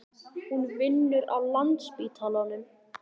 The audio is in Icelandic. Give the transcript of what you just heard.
Hún vinnur á Landspítalanum.